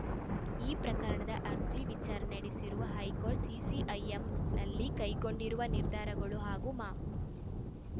ಈ ಪ್ರಕರಣದ ಅರ್ಜಿ ವಿಚಾರಣೆ ನಡೆಸಿರುವ ಹೈಕೋರ್ಟ್ ಸಿಸಿಐಎಂನಲ್ಲಿ ಕೈಗೊಂಡಿರುವ ನಿರ್ಧಾರಗಳು ಹಾಗೂ ಮಾ